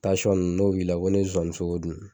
n' b'i la o n'i ye sonsannin sogo dun